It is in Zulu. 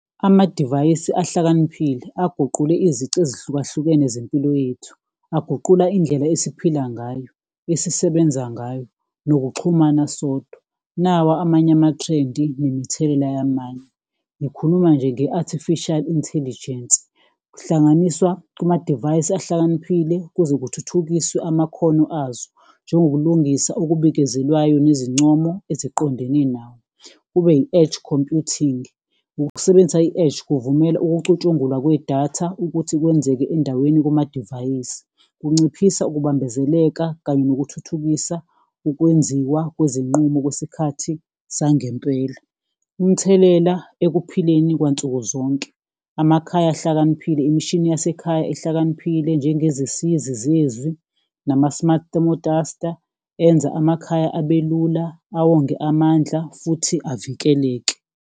Amadivayisi ahlakaniphile aguqule izici ezihlukahlukene zempilo yethu, aguqula indlela esiphila ngayo, esisebenza ngayo nokuxhumana sodwa, nawa amanye amathrendi nemithelela yamanye, ngikhuluma nje nge-Artificial Intelligence. Kuhlanganiswa kumadivayisi ahlakaniphile kuze kuthuthukiswe amakhono azo njengokulungisa okubikezelwayo nezincomo eziqondene nawo. Kube i-edge computing, ukusebenzisa i-edge kuvumela ukucutshungulwa kwedatha ukuthi kwenzeke endaweni kumadivayisi, kunciphisa ukubambezeleka kanye nokuthuthukisa ukwenziwa kwezinqumo kwesikhathi sangempela. Umthelela ekuphileni kwansukuzonke, amakhaya ahlakaniphile, imishini yasekhaya ehlakaniphile njengezisizi zezi, nama-smart thermostater enza amakhaya ube lula, awonge amandla futhi avikeleke.